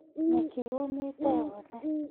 Nyeki yũmĩte yothe